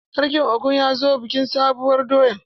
Sarkin Ogun ya zo bikin sabuwur doya.